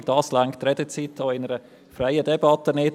Dafür reicht die Redezeit auch in einer freien Debatte nicht.